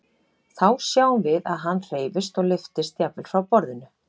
Þá sjáum við að hann hreyfist og lyftist jafnvel frá borðinu.